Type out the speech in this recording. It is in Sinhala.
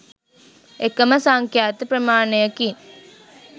එකම සංඛ්‍යාත ප්‍රමාණයකින්